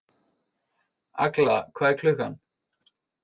Agla, hvað er klukkan?